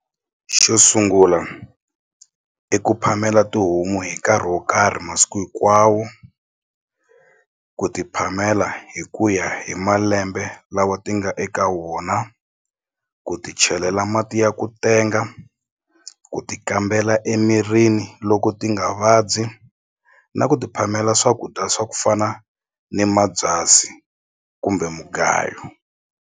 Xo sungula i ku phamela tihomu hi nkarhi wo karhi masiku hinkwawo ku ti phamela hi ku ya hi malembe lawa ti nga eka wona ku ti chelela mati ya ku tenga ku ti kambela emirini loko ti nga vabyi na ku ti phamela swakudya swa ku fana ni mabyasi kumbe mugayo.